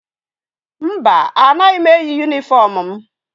Mba, anaghị m eyi yunifọmụ m.